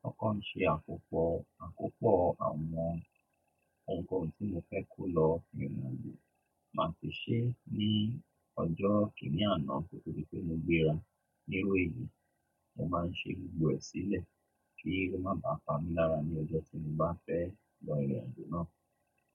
kọkọ̀ n ṣe àkópọ̀, àkópọ̀ àwọn ounkohun tí mo fẹ́ kó lọ ìrìnàjò. Má sì ṣe ní ọjọ́ kíní àná ko to dí pé mo gbéra. Ní iru eni, mo máa ń ṣe gbogbo ẹ̀ sílẹ̀ tori ko má ba à pa mí lára ní ọjọ́ tí mo bá fẹ́ lọ ìrìnàjò náà.